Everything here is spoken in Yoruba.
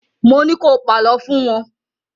Mo ní ko pàlọ́ fún wọn!